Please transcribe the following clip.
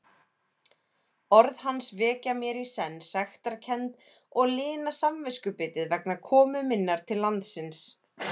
Orð hans vekja mér í senn sektarkennd og lina samviskubitið vegna komu minnar til landsins.